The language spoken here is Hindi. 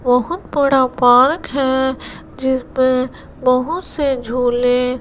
बहोत बड़ा पार्क है जिसमें बहुत से झूले--